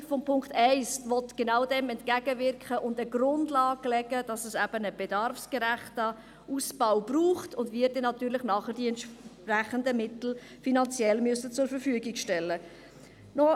Der Punkt 1 will genau dem entgegenwirken und eine Grundlage schaffen, dass es eben einen bedarfsgerechten Ausbau braucht und wir nachher natürlich die entsprechenden finanziellen Mittel zur Verfügung stellen müssen.